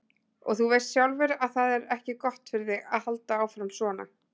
Og þú veist sjálfur að það er ekki gott fyrir þig að halda áfram, svona.